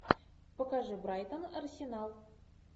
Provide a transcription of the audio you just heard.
покажи брайтон арсенал